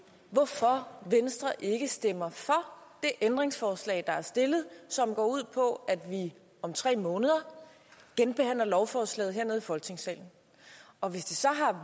hvorfor venstre ikke stemmer for det ændringsforslag der er stillet som går ud på at vi om tre måneder genbehandler lovforslaget her i folketingssalen og hvis det så